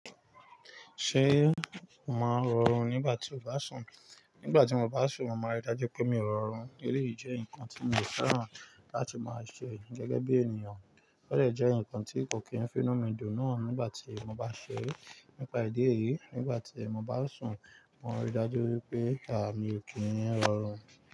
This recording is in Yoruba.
Ṣé màá rọrùn nígbà tí mo bá sùn? Nígbà tí mo bá sùn, màá rí i dájú pé mi ò rọrùn. Èyí jẹ́ nǹkan tí mo fẹ́ràn láti máa ṣe gẹ́gẹ́ bí ènìyàn, óò lè jẹ́ nǹkan tí kò kí ń fi inú mí dùn náà nígbà tí mo bá ṣe é. Nípa ìdí èyí, nígbà tí mo bá sùn, màá rí i dájú wípé àmi ò kí ń rọrùn.